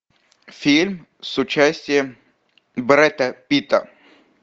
фильм с участием брэда питта